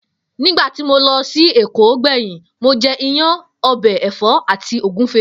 Nígbà tí mo lo̩ sí Èkó gbè̩yìn, mo je̩ iyán, o̩bè̩ è̩fó̩ àti ògúnfe